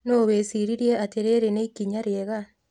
No wĩcirie atĩ rĩrĩ nĩ ikinya rĩega.